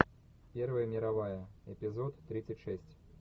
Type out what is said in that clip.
первая мировая эпизод тридцать шесть